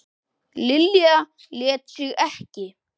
Lilja lét sig ekki.